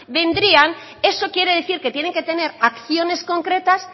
vendrían eso quiere decir que tienen que tener acciones concretas